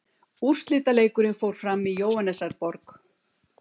Úrslitaleikurinn fór fram í Jóhannesarborg.